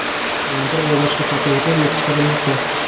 qalampir va boshqa sabzavotlar yetishtirilmoqda.